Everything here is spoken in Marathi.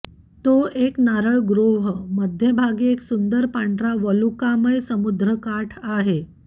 तो एक नारळ ग्रोव्ह मध्यभागी एक सुंदर पांढरा वालुकामय समुद्रकाठ आहे